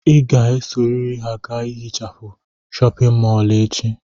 Ị ga-esorịrị ha gaa hichaa chọpịn mọọlụ echi!